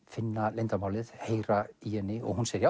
finna leyndarmálið heyra í henni og hún segir